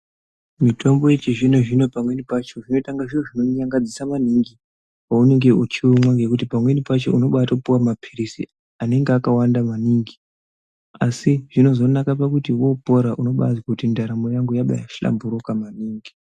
Mitombo yechizvino zvino pamweni pacho zvinoitanga zviro zvinonyangadzisa maningi paunenge uchiumwa ngekuti pamweni pacho unobatopuwa maphirizi anenge akawanda maningi asi zvinozonaka pakuti wopora unobazwa kuti ndaramo yangu yakahlamburuka maningi.